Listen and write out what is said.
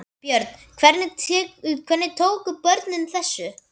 Björn: Hvernig tóku börnin þessu?